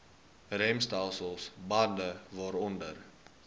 remstelsel bande waaronder